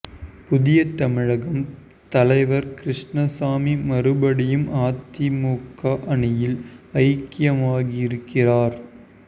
புதிய தமிழகம் தலைவர் கிருஷ்ணசாமி மறுபடியும் அதிமுக அணியில் ஐக்கியமாகியிருக்கிறார்